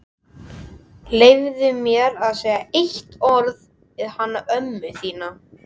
Leyfðu mér að segja eitt orð við hana ömmu þína.